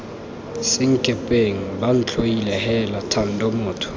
senkepeng bantlhoile heela thando motho